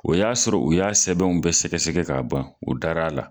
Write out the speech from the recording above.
O y'a sɔrɔ o y'a sɛbɛnw bɛ sɛgɛsɛgɛ k'a ban u dar'a la.